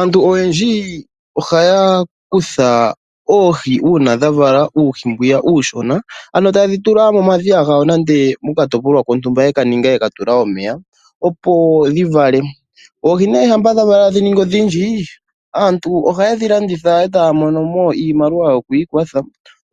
Aantu oyendji ohaya kutha oohi uuna dhavala uuhi mbyiya uushona, ano taye dhi tula momadhiya gawo nenge mokatopolwa kontumba yekaninga, yeka tula omeya opo dhi vale. Oohi nee shampa dhavala dhaningi odhindji, aantu ohaye dhi landitha opo yamonemo iimaliwa yokwiikwatha.